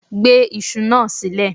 Gbe iṣu náà sílẹ̀